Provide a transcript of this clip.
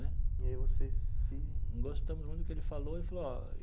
Né. E aí você se... Gostamos muito do que ele falou ele falou ó.